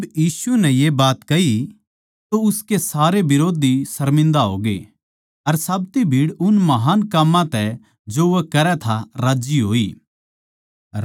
जिब यीशु नै ये बात कही तो उसके सारे बिरोधी सर्मिन्दा होगे अर साब्ती भीड़ उन महान् काम्मां तै जो वो करै था राज्जी होई